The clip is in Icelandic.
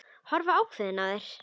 Horfa ákveðin á þær.